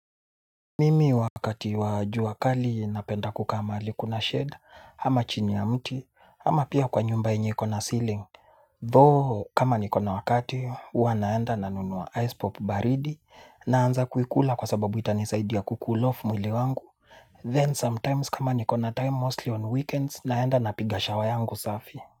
Mimi wakati wa jua kali napenda kukaa mahali kuna shade ama chini ya mti ama pia kwa nyumba yenye ikona ceiling Though kama nikona wakati huwa naenda nanunua ice pop baridi naanza kuikula kwa sababu itanisaidia ku cool off mwili wangu then sometimes kama nikona time mostly on weekends naenda napiga shower yangu safi.